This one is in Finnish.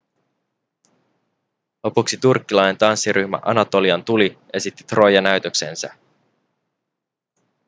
lopuksi turkkilainen tanssiryhmä anatolian tuli esitti troija-näytöksensä